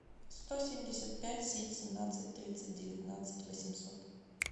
сто семьдесят пять семь семнадцать тридцать девятнадцать восемьсот